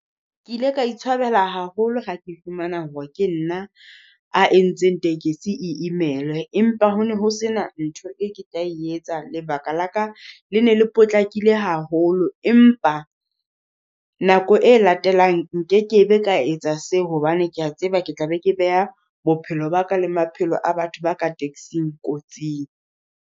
Ke ile ka itshwabela haholo ha ke fumana hore, ke nna a entseng tekesi e imelwe. Empa hono ho sena ntho e ke tla etsa. Lebaka la ka le ne le potlakile haholo. Empa, nako e latelang nke ke be ka etsa seo hobane kea tseba ke tla be ke beha, bophelo ba ka le maphelo a batho ba ka taxing kotsing.